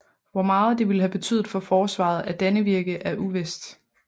Hvor meget det ville have betydet for forsvaret af Dannevirke er uvist